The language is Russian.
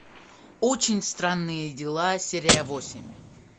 очень странные дела серия восемь